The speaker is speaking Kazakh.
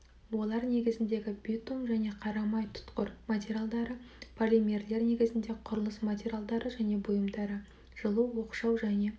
олар негізіндегі битум және қарамай тұтқыр материалдары полимерлер негізінде құрылыс материалдары және бұйымдары жылу оқшау және